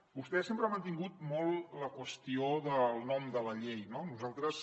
vostè sempre ha mantingut molt la qüestió del nom de la llei no nosaltres